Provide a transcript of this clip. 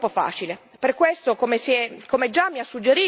Ma la mia è una previsione purtroppo fin troppo facile.